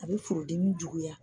A bɛ furudimi juguya.